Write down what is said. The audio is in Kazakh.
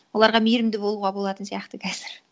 оларға меірімді болуға болатын сияқты қазір